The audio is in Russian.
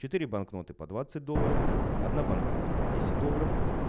четыре банкноты по двадцать долларов одна банкноты по десять долларов